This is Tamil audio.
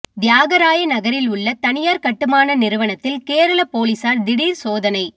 தியாகராய நகரில் உள்ள தனியார் கட்டுமான நிறுவனத்தில் கேரள போலீசார் திடீர் சோதனை